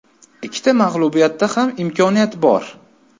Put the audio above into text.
Ikkita mag‘lubiyatda ham imkoniyat bor.